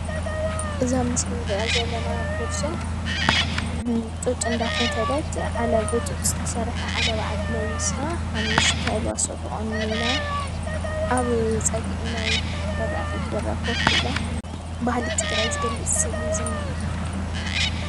እዛ ኣብ ምስሊ አንርእያ ዘለና ጎርዞ ጡጥ እንዳፈተለት ዓለባ ብጡጥ ዝተሰርሐ ዓለባዓዲ ለቢሳ ሓሙሽተ ኣልባሶ ተቆኒና ኣብ ፀግዒ ናይ በሪኣፍቤት በራ ኮፍ ኢላ ባህሊ ትግራይ ናይ ዝገልፅ ሰእሊ እዩ ዝኒአ።